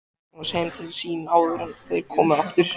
Magnúsi heim til sín áður en þeir komu aftur.